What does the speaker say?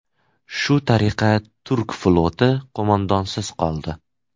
Shu tariqa turk floti qo‘mondonsiz qoldi.